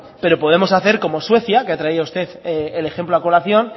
pero podemos hacer como suecia que ha traído usted el ejemplo a colación